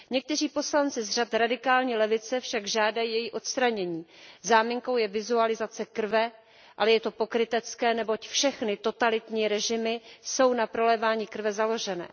Někteří poslanci z řad radikální levice však žádají její odstranění. Záminkou je vizualizace krve, ale je to pokrytecké, neboť všechny totalitní režimy jsou na prolévání krve založené.